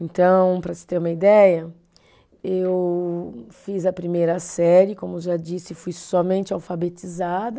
Então, para você ter uma ideia, eu fiz a primeira série, como já disse, fui somente alfabetizada.